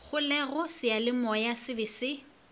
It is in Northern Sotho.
kgolego seyalemoya se be se